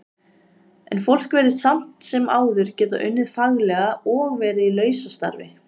En fólk virðist samt sem áður geta unnið faglega og verið í lausastarfi.